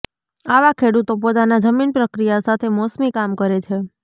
આવા ખેડૂતો પોતાના જમીન પ્રક્રિયા સાથે મોસમી કામ કરે છે